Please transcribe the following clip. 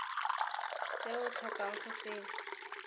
se o tlhokang go se